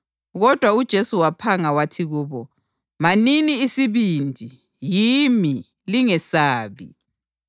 Kodwa uJesu waphanga wathi kubo, “Manini isibindi! Yimi. Lingesabi.”